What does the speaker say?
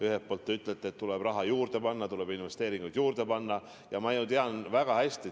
Ühelt poolt te ütlete, et tuleb raha juurde panna, tuleb investeeringuid juurde panna – ma ju tean seda väga hästi.